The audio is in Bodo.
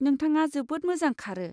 नोंथाङा जोबोद मोजां खारो।